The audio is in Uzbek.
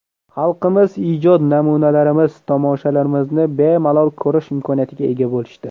Xalqimiz ijod namunalarimiz, tomoshalarimizni bemalol ko‘rish imkoniyatiga ega bo‘lishdi.